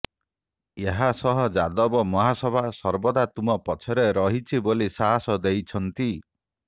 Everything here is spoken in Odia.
ଏହାସହ ଯାଦବ ମହାସଭା ସର୍ବଦା ତୁମ ପଛରେ ରହିଛି ବୋଲି ସାହାସ ଦେଇଛନ୍ତି